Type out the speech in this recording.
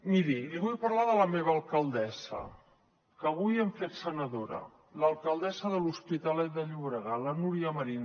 miri li vull parlar de la meva alcaldessa que avui hem fet senadora l’alcaldessa de l’hospitalet de llobregat la núria marín